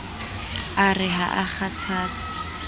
a re ha a kgathatse